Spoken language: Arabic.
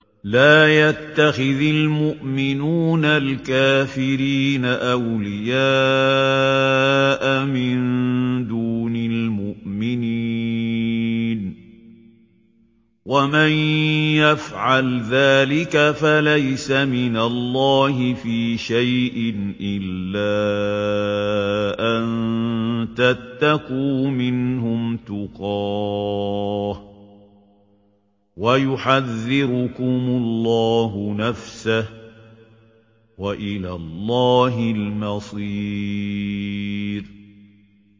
لَّا يَتَّخِذِ الْمُؤْمِنُونَ الْكَافِرِينَ أَوْلِيَاءَ مِن دُونِ الْمُؤْمِنِينَ ۖ وَمَن يَفْعَلْ ذَٰلِكَ فَلَيْسَ مِنَ اللَّهِ فِي شَيْءٍ إِلَّا أَن تَتَّقُوا مِنْهُمْ تُقَاةً ۗ وَيُحَذِّرُكُمُ اللَّهُ نَفْسَهُ ۗ وَإِلَى اللَّهِ الْمَصِيرُ